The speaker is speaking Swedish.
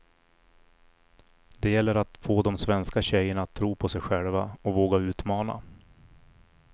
Det gäller att få de svenska tjejerna att tro på sig själva och våga utmana.